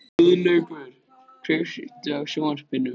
Guðlaugur, kveiktu á sjónvarpinu.